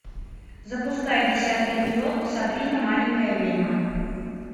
запускай десятый эпизод сабрина маленькая ведьма